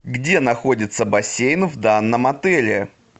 где находится бассейн в данном отеле